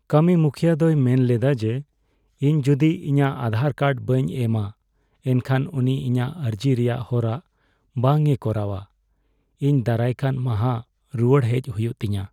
ᱠᱟᱹᱢᱤᱢᱩᱠᱷᱤᱭᱟᱹ ᱫᱚᱭ ᱢᱮᱱ ᱞᱮᱫᱟ ᱡᱮ, ᱤᱧ ᱡᱩᱫᱤ ᱤᱧᱟᱹᱜ ᱟᱫᱷᱟᱨ ᱠᱟᱨᱰ ᱵᱟᱹᱧ ᱮᱢᱼᱟ, ᱮᱱᱠᱷᱟᱱ ᱩᱱᱤ ᱤᱧᱟᱹᱜ ᱟᱨᱡᱤ ᱨᱮᱭᱟᱜ ᱦᱚᱨᱟ ᱵᱟᱝᱮ ᱠᱚᱨᱟᱣᱼᱟ ᱾ ᱤᱧ ᱫᱟᱨᱟᱭᱠᱟᱱ ᱢᱟᱦᱟ ᱨᱩᱣᱟᱹᱲ ᱦᱮᱡ ᱦᱩᱭᱩᱜ ᱛᱤᱧᱟ ᱾